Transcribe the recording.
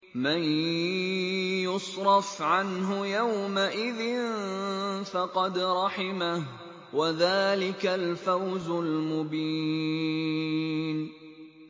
مَّن يُصْرَفْ عَنْهُ يَوْمَئِذٍ فَقَدْ رَحِمَهُ ۚ وَذَٰلِكَ الْفَوْزُ الْمُبِينُ